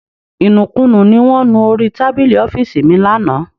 Ìnùkunù ní wọn nú orí tábìlì ọ́fíìsì mi lánàá